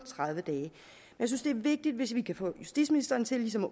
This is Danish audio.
tredive dage jeg synes det er vigtigt hvis vi kan få justitsministeren til ligesom at